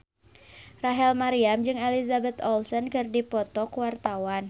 Rachel Maryam jeung Elizabeth Olsen keur dipoto ku wartawan